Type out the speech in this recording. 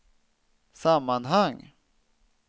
sammanhang